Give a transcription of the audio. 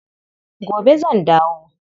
Gobe zan dawo.